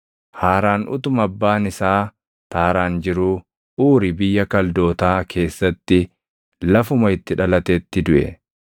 Haaraan utuma abbaan isaa Taaraan jiruu Uuri biyya Kaldootaa keessatti lafuma itti dhalatetti duʼe.